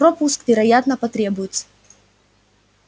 пропуск вероятно потребуется